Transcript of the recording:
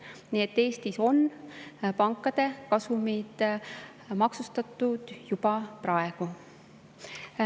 Nii et Eestis on pankade kasumid maksustatud juba praegu.